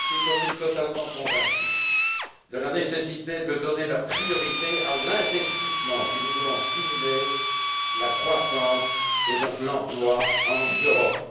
Je suis, comme lui, totalement convaincu de la nécessité de donner la priorité à l'investissement si nous voulons stimuler la croissance et donc l'emploi en Europe.